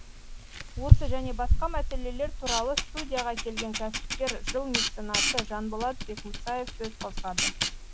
осы және басқа мәселелер туралы студияға келген кәсіпкер жыл меценаты жанболат бекмұсаев сөз қозғады